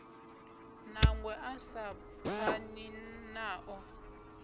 nangwe a sa pfani nao